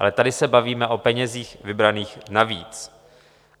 Ale tady se bavíme o penězích vybraných navíc.